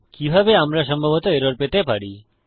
কিভাবে আমরা সম্ভবত এরর পেতে পারি